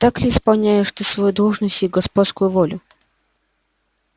так ли исполняешь ты свою должность и господскую волю